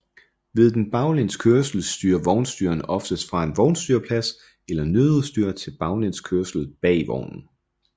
Ved den baglæns kørsel styrer vognstyreren oftest fra en vognstyrerplads eller nødudstyr til baglæns kørsel bag i vognen